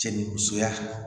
Cɛ ni musoya